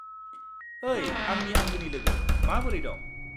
ओइ आंनि आंगोनि लोगो, माबोरै दं?